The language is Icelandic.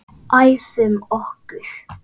Æfum okkur.